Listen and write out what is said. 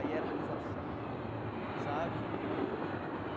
A hierarquização, sabe?